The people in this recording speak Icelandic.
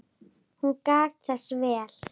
Hún gætti þess vel.